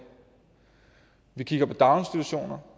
vi kigger på daginstitutioner